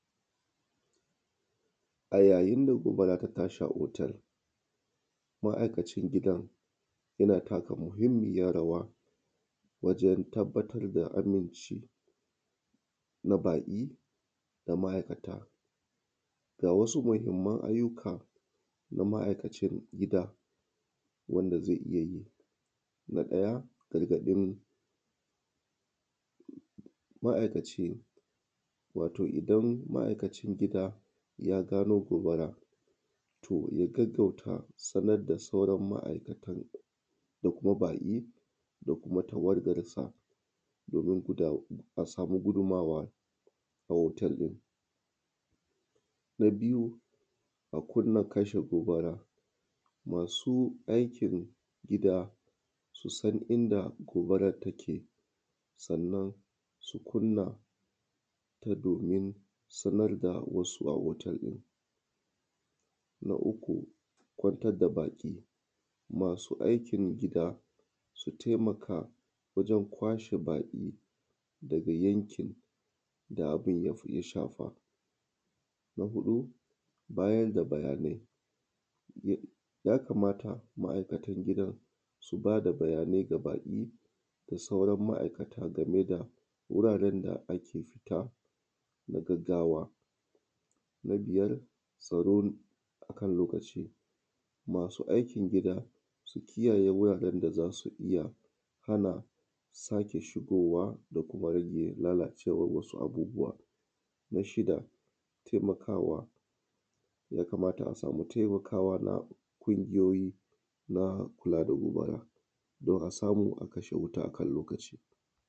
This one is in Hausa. A yayin da gobara ta tashi a hotel ma’aikacin gidan yana taka muhimmiyan rawa wajen tabbatar da aminci na baƙi da ma’aikata. Ga wasu muhimman ayyuka ga ma’aikacin gida wanda zai iya yi na ɗaya gargaɗin ma’aikaci wato idan ma’aikacin gida ya gano gobara to ya gaggauta sanar da sauran ma’aikatan da kuma baƙi da kuma tawagar sa domin a samu gudunmawa a hotel ɗin, na biyu a kunna abin kashe gobara masu aikin gida su san inda gobaran take sannan su kunnata domin sanar da wasu a hotel ɗin. Na uku kwantar da baƙi masu aikin gida su taimaka wajen kwashe baƙi daga yankin da abun ya shafa, na huɗu bayar da bayanai, ya kamata ma’aikatan gidan su ba da bayanai ga baƙi da sauran ma’aikata game da wuraren da ake fita na gaggwa, na biyar tsaro akan lokaci, masu aikin gida ya kamata su kiyaye, su kiyaye wuraren da za su iya hana sake shigowa da kuma hana lalacewa na wasu abubuwa, na shida taimakawa ya kamata a samu taimakawa na ƙungiyoyi na kula da gobara don a samu a kashe wuta a kan lokaci.